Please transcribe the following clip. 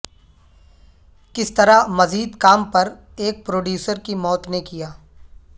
کس طرح مزید کام پر ایک پروڈیوسر کی موت نے کیا